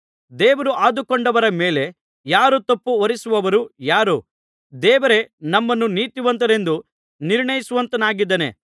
ದೇವರು ಆದುಕೊಂಡವರ ಮೇಲೆ ಯಾರು ತಪ್ಪು ಹೊರಿಸುವವರು ಯಾರು ದೇವರೇ ನಮ್ಮನ್ನು ನೀತಿವಂತರೆಂದು ನಿರ್ಣಯಿಸುವಾತನಾಗಿದ್ದಾನೆ